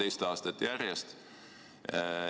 See on teist aastat järjest.